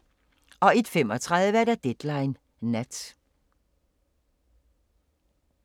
01:35: Deadline Nat